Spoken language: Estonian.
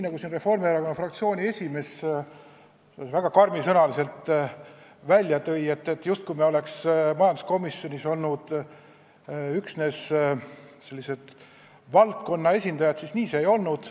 Reformierakonna fraktsiooni esimees jättis väga karmisõnaliselt esinedes mulje, et me nagu oleks majanduskomisjonis olnud üksnes valdkonna esindajad, aga nii see ei olnud.